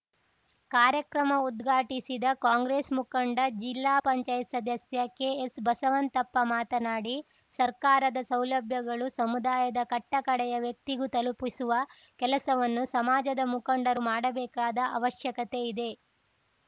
ಕಾರ್ಯಕ್ರಮ ಉದ್ಘಾಟಿಸಿದ ಕಾಂಗ್ರೆಸ್‌ ಮುಖಂಡ ಜಿಲ್ಲಾಪಂಚಾಯತ್ ಸದಸ್ಯ ಕೆಎಸ್‌ಬಸವಂತಪ್ಪ ಮಾತನಾಡಿ ಸರ್ಕಾರದ ಸೌಲಭ್ಯಗಳು ಸಮುದಾಯದ ಕಟ್ಟಕಡೆಯ ವ್ಯಕ್ತಿಗೂ ತಲುಪಿಸುವ ಕೆಲಸವನ್ನು ಸಮಾಜದ ಮುಖಂಡರು ಮಾಡಬೇಕಾದ ಅವಶ್ಯಕತೆ ಇದೆ